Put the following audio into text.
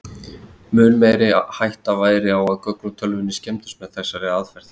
mun meiri hætta væri á að gögn í tölvunni skemmdust með þessari aðferð